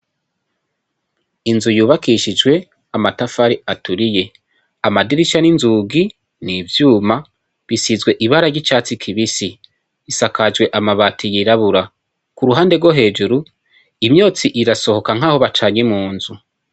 Inzu yubakishijwe amatafari aturiye , amadirisha n'inzugi n'ivyuma bizizwe ibara ry'icatsi kibisi, isakajwe amabati yirabura , kuruhande rwo hejuru imyotsi irasohoka nkaho bacanye munzu .